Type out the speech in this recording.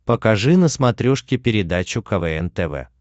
покажи на смотрешке передачу квн тв